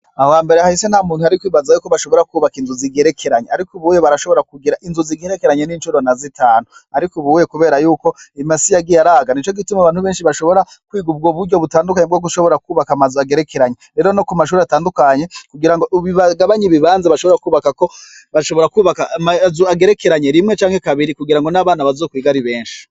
Aho hambere hahise ntamuntu yari kwibaza ko bashobora kwubaka inzu zigerekeranye. Ariko ubuye barashobora kubaka inzu zigerekeranye n'incuro na zitanu. Ariko ubuye kubera yuko imasi yagiye araga. Nico gituma abantu benshi bashobora kwiga ubwo buryo bwo gushobora kwubaka amazu agerekeranye. Rero no ku mashure atandukanye, kugira ngo bagabanye ibibanza bashobora kwubako, bashobora kwubaka amazu agerekeranye rimwe canke kabiri kugira ngo n'abana bazokwige ari benshi.